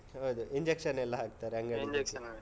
ಹೌದು, injection ಎಲ್ಲ ಹಾಕ್ತಾರೆ ಅಂಗಡಿದ್ದು.